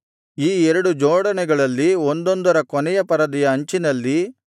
ಈ ಎರಡು ಜೋಡಣೆಗಳಲ್ಲಿ ಒಂದೊಂದರ ಕೊನೆಯ ಪರದೆಯ ಅಂಚಿನಲ್ಲಿ